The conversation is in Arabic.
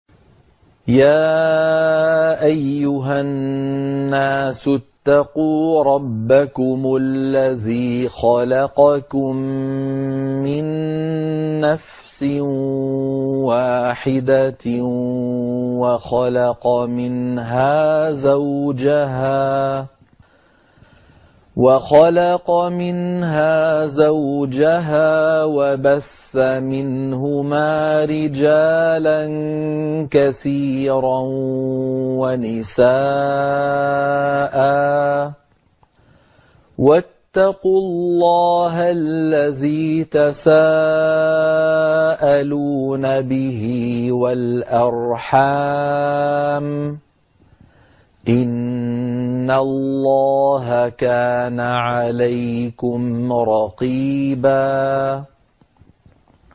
يَا أَيُّهَا النَّاسُ اتَّقُوا رَبَّكُمُ الَّذِي خَلَقَكُم مِّن نَّفْسٍ وَاحِدَةٍ وَخَلَقَ مِنْهَا زَوْجَهَا وَبَثَّ مِنْهُمَا رِجَالًا كَثِيرًا وَنِسَاءً ۚ وَاتَّقُوا اللَّهَ الَّذِي تَسَاءَلُونَ بِهِ وَالْأَرْحَامَ ۚ إِنَّ اللَّهَ كَانَ عَلَيْكُمْ رَقِيبًا